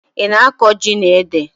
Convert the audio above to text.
Ị na-akụ ji na ede?